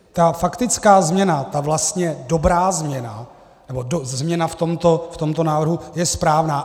Ta faktická změna, ta vlastně dobrá změna, nebo změna v tomto návrhu, je správná.